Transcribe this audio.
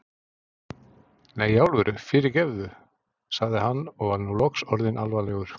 Nei, í alvöru, fyrirgefðu sagði hann og var nú loks orðinn alvarlegur.